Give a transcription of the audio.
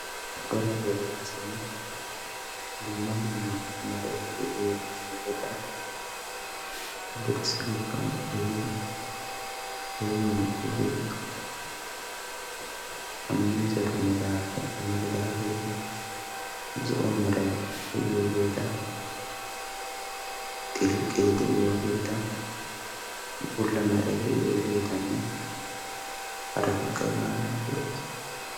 Cora dere asay dumma dumma Meray de'iyo miizzata dirssa giddon ehidi heemmiiddi beettoosona. miizzatu meraappe amaridaageeti zo'o meray de'iyogeeta, xilqqee de'iyogeeta, bulla Meray de'iyogeetanne haratikka hegaadan de'oosona.